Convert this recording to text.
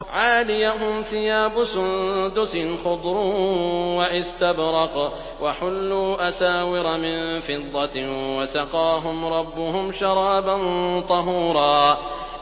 عَالِيَهُمْ ثِيَابُ سُندُسٍ خُضْرٌ وَإِسْتَبْرَقٌ ۖ وَحُلُّوا أَسَاوِرَ مِن فِضَّةٍ وَسَقَاهُمْ رَبُّهُمْ شَرَابًا طَهُورًا